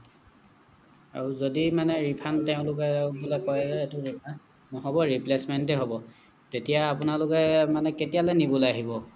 আৰু যদি মানে refund তেওঁলোকে বোলে কয় যে এইটো নহ'ব replacement হে হ'ব তেতিয়া আপোনালোকে মানে কেতিয়ালে নিবলৈ আহিব